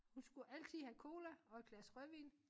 Hun skulle altid have cola og et glas rødvin